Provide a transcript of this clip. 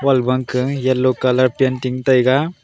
aga wall ka yellow colour painting taiga.